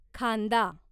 खांदा